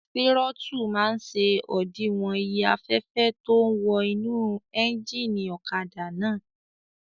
Tírótù máa n ṣe òdiwọ̀n iye afẹ́fẹ́ tó ún wọ inú éjìnì ọ̀kadà náà